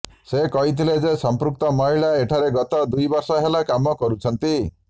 ସେ କହିଥିଲେ ଯେ ସମ୍ପୃକ୍ତ ମହିଳା ଏଠାରେ ଗତ ଦୁଇ ବର୍ଷ ହେଲା କାମ କରୁଛନ୍ତି